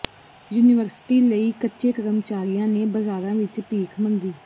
university ਲਈ ਕੱਚੇ ਕਰਮਚਾਰੀਆਂ ਨੇ ਬਾਜ਼ਾਰਾਂ ਵਿਚ ਭੀਖ ਮੰਗੀ